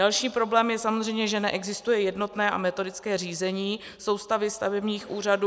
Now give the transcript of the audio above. Další problém je samozřejmě, že neexistuje jednotné a metodické řízení soustavy stavebních úřadů.